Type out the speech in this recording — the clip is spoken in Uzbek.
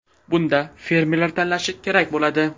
Bunda fermerlar tanlashi kerak bo‘ladi.